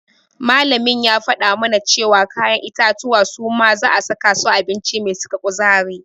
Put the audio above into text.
Malamin ya faɗa mana cewa kayan itatuwa suma za'a saka su a abinci mai saka kuzari.